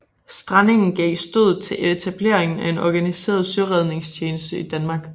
Strandingen gav stødet til etablering af en organiseret søredningstjeneste i Danmark